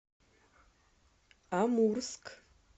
амурск